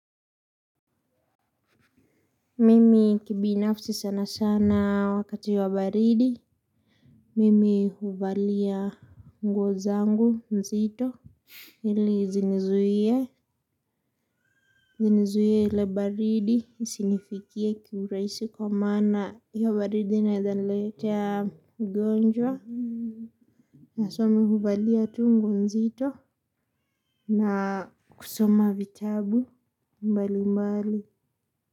Mimi kibinafsi sana sana wakati wa baridi. Mimi huvalia nguo zangu nzito. Hili zinizuie hile baridi isinifikie kiuraisi kwa maana hiyo baridi inaeza niletea ugonjwa. Na so mi huvalia tu nguo nzito na kusoma vitabu mbali mbali.